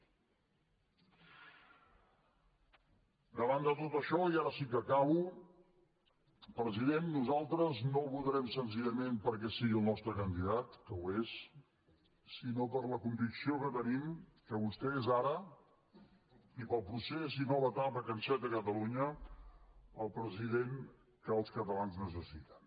davant de tot això i ara sí que acabo president nosaltres no el votarem senzillament perquè sigui el nos tre candidat que ho és sinó per la convicció que tenim que vostè és ara i per al procés i la nova etapa que enceta catalunya el president que els catalans necessiten